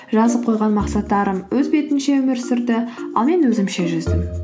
жазып қойған мақсаттарым өз бетінше өмір сүрді ал мен өзімше жүздім